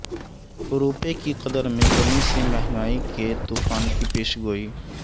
روپے کی قدر میں کمی سے مہنگائی کے طوفان کی پیشگوئی